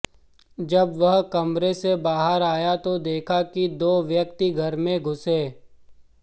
जब वह कमरे से बाहर आया तो देखा कि दो व्यक्ति घर में घुसे